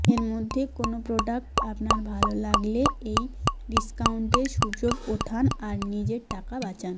এর মধ্যে কোন প্রোডাক্ট আপনার ভাল লাগলে এই ডিস্কাউন্টের সুযোগ ওঠান আর নিজের টাকা বাচান